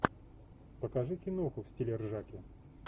покажи киноху в стиле ржаки